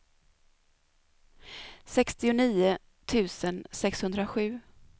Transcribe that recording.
sextionio tusen sexhundrasju